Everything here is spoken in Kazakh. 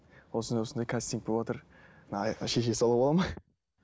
осындай осындай кастинг боватыр мына шеше салуға болады ма